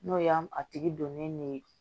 N'o y'an a tigi donnen ne ye